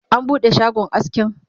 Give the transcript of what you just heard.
an buɗe shagon askin?